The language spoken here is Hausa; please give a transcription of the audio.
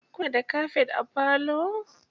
Kuna da kafet a falo?